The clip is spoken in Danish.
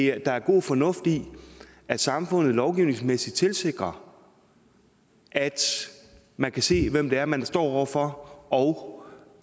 er god fornuft i at samfundet lovgivningsmæssigt tilsikrer at man kan se hvem det er man står over for og